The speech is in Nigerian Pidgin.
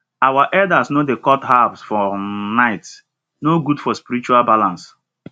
our elders no dey cut herbs for um nighte no good for spiritual balance